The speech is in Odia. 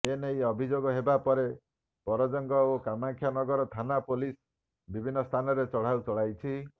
ଏନେଇ ଅଭିଯୋଗ ହେବା ପରେ ପରଜଙ୍ଗ ଓ କାମାକ୍ଷାନଗର ଥାନା ପୋଲିସ ବିଭିନ୍ନ ସ୍ଥାନରେ ଚଢ଼ାଉ ଚଳାଇଛି